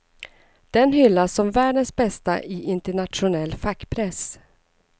Den hyllas som världens bästa i internationell fackpress.